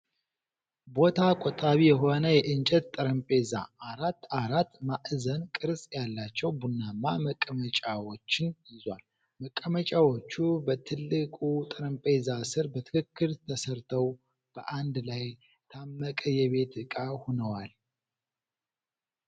ቦታ ቆጣቢ የሆነ የእንጨት ጠረጴዛ፣ አራት አራት ማዕዘን ቅርፅ ያላቸው ቡናማ መቀመጫዎችን ይዟል። መቀመጫዎቹ በትልቁ ጠረጴዛ ስር በትክክል ተሰርተው በአንድ ላይ የታመቀ የቤት እቃ ሆነዋል።